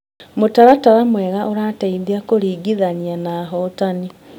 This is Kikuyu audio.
Mũtaratara mwega ũteithagia kũringithania na ahotani.